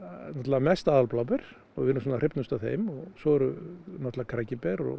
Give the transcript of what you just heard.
mest og við erum svona hrifnust af þeim svo eru náttúrulega krækiber og